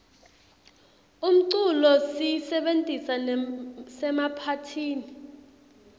umculo siyisebentisa nasemaphathini